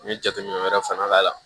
Ni jateminɛ wɛrɛ fana b'a la